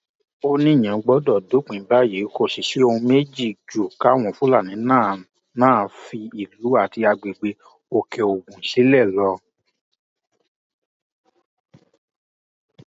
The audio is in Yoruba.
ó níyẹn gbọdọ dópin báyìí kò sì sóhun méjì ju káwọn fúlàní náà náà fi ìlú àti agbègbè òkèogun sílẹ lọ